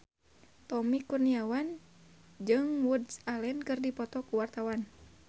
Tommy Kurniawan jeung Woody Allen keur dipoto ku wartawan